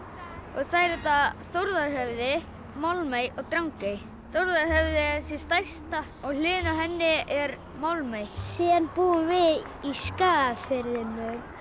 og þær heita Þórðarhöfði Málmey og Drangey Þórðarhöfði er þessi stærsta og við hliðina á henni er Málmey síðan búum við í Skagafirðinum